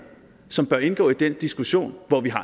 som bør indgå i den diskussion hvor vi har